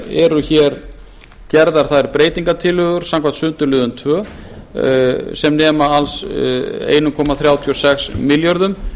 eru gerðar þær breytingartillögur samkvæmt sundurliðun tvö sem nema alls einn komma þrjátíu og sex milljörðum